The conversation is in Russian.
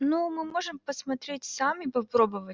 ну мы можем посмотреть сами попробовать